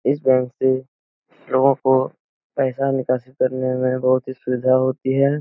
इस बैंक से लोगो को पैसा निकासित करने में बहुत ही सुविधा होती है |